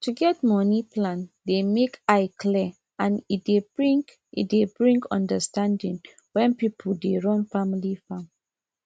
to get moni plan dey make eye clwar and e dey bring e dey bring understanding when person dey run family farm